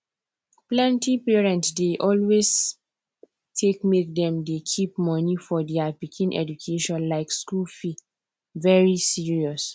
plenty parent dey always take make dem dey keep money for dia pikin education like school fee very serious